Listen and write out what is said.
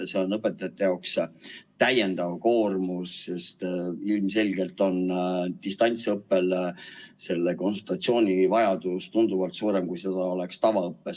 See on õpetajate jaoks täiendav koormus, sest ilmselgelt on distantsõppel selle konsultatsiooni vajadus tunduvalt suurem, kui seda oleks tavaõppes.